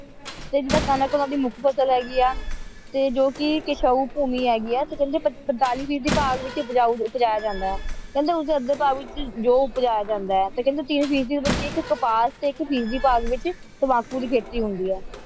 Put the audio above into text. ਤੇ ਜਿੱਦਾਂ ਖਾਣਾ ਕੌਲਾਂ ਦੀ ਮੁੱਖ ਫਸਲ ਹੈਗੀ ਹੈ ਤੇ ਜੋ ਕਿ ਕੇਸ਼ਾਉ ਭੂਮੀ ਹੈਗੀ ਹੈ ਕਹਿੰਦੇ ਪੈਂਤਾਲੀ ਫ਼ੀਸਦੀ ਭਾਗ ਦੇ ਵਿੱਚ ਦਰੀਆਉ ਉਪਜਾਇਆ ਜਾਂਦਾ ਹੈ ਕਹਿੰਦੇ ਉਸਦੇ ਅੱਧੇ ਭਾਗ ਦੇ ਵੋੱਚ ਜੋਂ ਉਪਜਾਇਆ ਜਾਂਦ ਹੈ ਤੇ ਕਹਿੰਦੇ ਤੀਏ ਫ਼ੀਸਦੀ ਦੇ ਵਿੱਚ ਇੱਕ ਕਪਾਸ ਤੇ ਇੱਕ ਭਾਗ ਦੇ ਵਿੱਚ ਤੰਬਾਕੂ ਦੀ ਖੇਤੀ ਹੁੰਦੀ ਹੈ